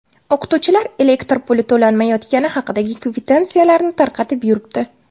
O‘qituvchilar elektr puli to‘lanmayotgani haqidagi kvitansiyalarni tarqatib yuribdi.